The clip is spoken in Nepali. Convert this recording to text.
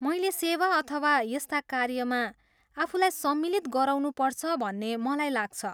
मैले सेवा अथवा यस्ता कार्यमा आफूलाई सम्मिलित गराउनुपर्छ भन्ने मलाई लाग्छ।